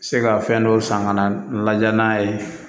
Se ka fɛn dɔw san ka na lajɛ n'a ye